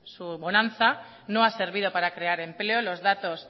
su bonanza no ha servido para crear empleo los datos